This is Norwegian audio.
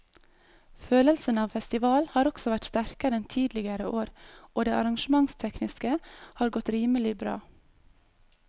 Følelsen av festival har også vært sterkere enn tidligere år og det arrangementstekniske har godt rimelig bra.